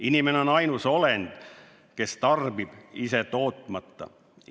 Inimene on ainus olend, kes tarbib, ise tootmata.